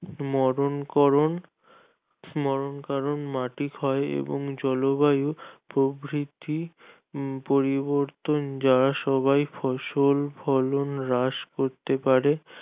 মরণ করণ মরণ কারণ মাটি ক্ষয় এবং জলবায়ু প্রভৃতি পরিবর্তন যা সবাই ফসল ফলন হ্রাস করতে পারে